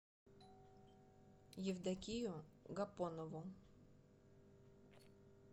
евдокию гапонову